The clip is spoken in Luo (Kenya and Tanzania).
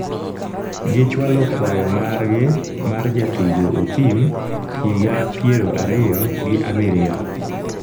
gi chwalo kwayo margi mar jatugo Othim, higa piero ariyo gi abiriyo